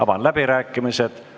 Avan läbirääkimised.